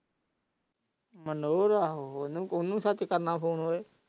ਮਨੋਰ ਆਹੋ ਉਹਨੂੰ ਸੱਚ ਕਰਨਾ ਫ਼ੋਨ ਉਏ।